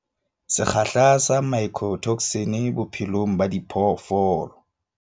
Sekgahla sa mycotoxin bophelong ba diphoofolo